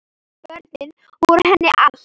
Börnin voru henni allt.